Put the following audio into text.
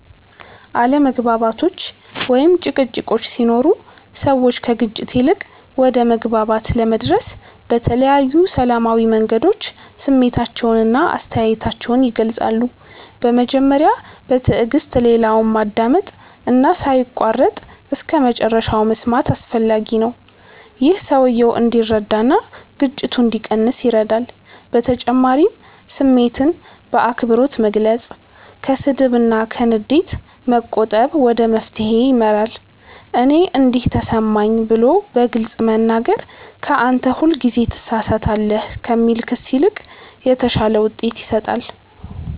አለመግባባቶች ወይም ጭቅጭቆች ሲኖሩ ሰዎች ከግጭት ይልቅ ወደ መግባባት ለመድረስ በተለያዩ ሰላማዊ መንገዶች ስሜታቸውን እና አስተያየታቸውን ይገልጻሉ። በመጀመሪያ በትዕግስት ሌላውን ማዳመጥ እና ሳይቋረጥ እስከመጨረሻ መስማት አስፈላጊ ነው። ይህ ሰውየው እንዲረዳ እና ግጭቱ እንዲቀንስ ይረዳል በተጨማሪም ስሜትን በአክብሮት መግለጽ፣ ከስድብ እና ከንዴት መቆጠብ ወደ መፍትሄ ይመራል። “እኔ እንዲህ ተሰማኝ” ብሎ በግልጽ መናገር ከ “አንተ ሁልጊዜ ትሳሳታለህ” ከሚል ክስ ይልቅ የተሻለ ውጤት ይሰጣል።